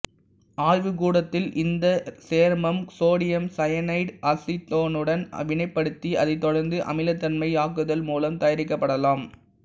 ஆய்வுக்கூடத்தில் இந்தச் சேர்மம் சோடியம் சயனைடை அசிட்டோனுடன் வினைப்படுத்தி அதைத் தொடர்ந்து அமிலத்தன்மையாக்குதல் மூலம் தயாரி்க்கப்படலாம்